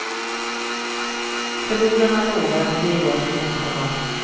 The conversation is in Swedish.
Förlorarna lovar att ge igen nästa gång.